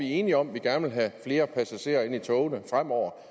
enige om at vi gerne vil have flere passagerer ind i togene fremover